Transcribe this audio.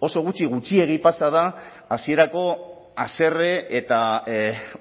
oso gutxi gutxiegi pasa da hasierako haserre eta